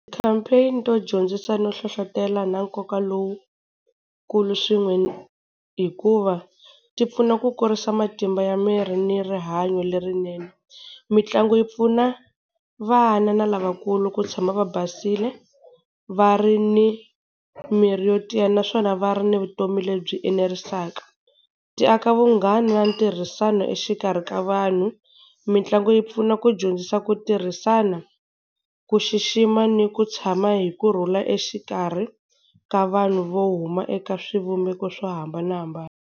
Ti-campaign to dyondzisa no hlohlotelo na nkoka lowukulu swin'we, hikuva ti pfuna ku kurisa matimba ya miri ni rihanyo lerinene. Mitlangu yi pfuna vana na lavakulu ku tshama va basile va ri ni miri yo tiya, naswona va ri ni vutomi lebyi enerisaka. Ti aka vunghana na ntirhisano exikarhi ka vanhu. Mitlangu yi pfuna ku dyondzisa ku tirhisana, ku xixima ni ku tshama hi kurhula exikarhi ka vanhu vo huma eka swivumbeko swo hambanahambana.